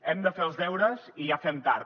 hem de fer els deures i ja fem tard